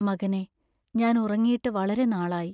മകനേ, ഞാൻ ഉറങ്ങീട്ട് വളരെ നാളായി.